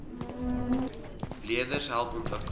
leerders help ontwikkel